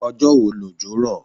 Ọjọ́ wo lòjò rọ̀?